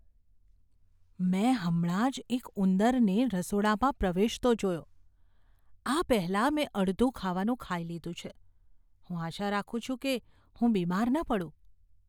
મેં હમણાં જ એક ઉંદરને રસોડામાં પ્રવેશતો જોયો. આ પહેલાં મેં અડધું ખાવાનું ખાઈ લીધું છે. હું આશા રાખું છું કે હું બીમાર ન પડું.